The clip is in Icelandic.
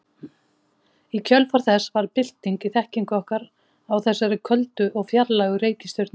Í kjölfar þess varð bylting í þekkingu okkar á þessari köldu og fjarlægu reikistjörnu.